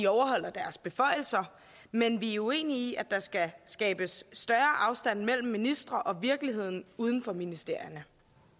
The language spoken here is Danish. overholde deres beføjelser men vi er uenige i at der skal skabes større afstand mellem ministre og virkeligheden uden for ministerierne